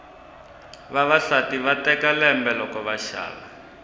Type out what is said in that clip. vavasati va teka lembe loko va xava